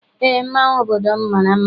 Eé, mmanwụ obodo m mara mma.